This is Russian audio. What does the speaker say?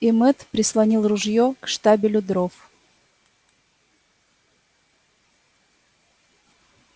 и мэтт прислонил ружьё к штабелю дров